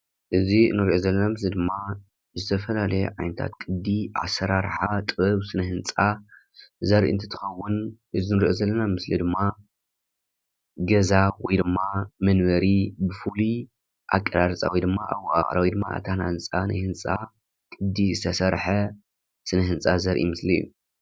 እዚ እንሪኦ ዘለና ምስሊ ድማ ዝተፈላለየ ዓይነታት ቅዲ አሰራርሓ ጥበብ ስነህንፃ ዘርኢ እንትኸውን እዚ ንሪኦ ዘለና ስእሊ ድማ ገዛ ወይ ድማ መንበሪ ብፉሉይ እቀራርፃ ወይ ድማ እወቃቅራ ወይ ድማ እተሃናንፃ ናይ ህንፃ ቅዲ ዝተሰርሐ ስነህንፃ ዘርኢ ምስሊ እዩ።